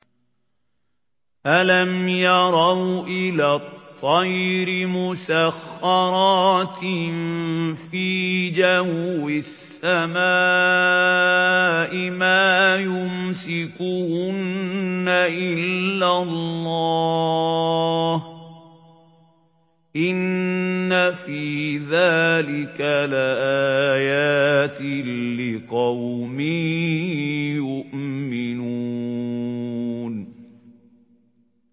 أَلَمْ يَرَوْا إِلَى الطَّيْرِ مُسَخَّرَاتٍ فِي جَوِّ السَّمَاءِ مَا يُمْسِكُهُنَّ إِلَّا اللَّهُ ۗ إِنَّ فِي ذَٰلِكَ لَآيَاتٍ لِّقَوْمٍ يُؤْمِنُونَ